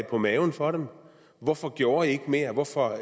på maven for dem hvorfor gjorde i ikke mere hvorfor